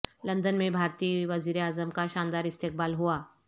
London میں بھارتی وزیر اعظم کا شاندار استقبال ہوا